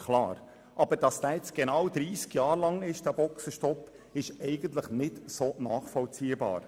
Dass dieser nun dreissig Jahre angedauert hat, ist eigentlich nicht nachvollziehbar.